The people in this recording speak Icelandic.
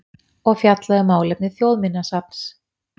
og fjallaði um málefni Þjóðminjasafns.